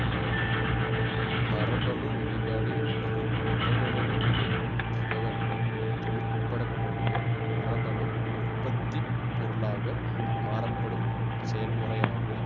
மரபணு வெளிப்பாடு என்பது மரபணுவில் இருக்கும் தகவல்கள் தொழிற்படக்கூடிய மரபணு உற்பத்தி பொருளாக மாறப்படும் செயல்முறையாகும்